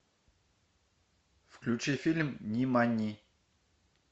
включи фильм нимани